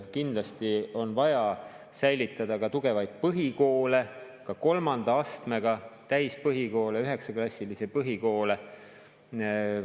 Kindlasti on vaja säilitada ka tugevaid põhikoole, ka kolmanda astmega täispõhikoole, üheksaklassilisi põhikoole.